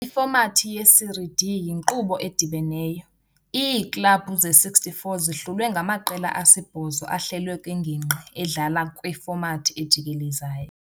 Ifomathi ye-Série D yinkqubo edibeneyo- iiklabhu ze-64 zihlulwe ngamaqela asi-8 ahlelwe kwingingqi, edlala kwifomathi ejikelezayo.